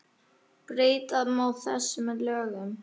Breyta má þessu með lögum